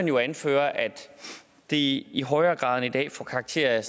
jo anføres at det i højere grad end i dag får karakter